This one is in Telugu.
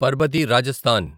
పర్బతి రాజస్థాన్